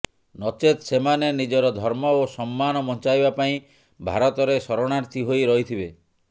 ନଚେତ ସେମାନେ ନିଜର ଧର୍ମ ଓ ସମ୍ମାନ ବଞ୍ଚାଇବା ପାଇଁ ଭାରତରେ ଶରଣାର୍ଥୀ ହୋଇ ରହିଥିବେ